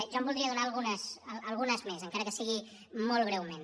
jo en voldria donar algunes més encara que sigui molt breument